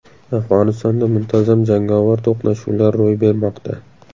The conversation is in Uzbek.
Afg‘onistonda muntazam jangovar to‘qnashuvlar ro‘y bermoqda.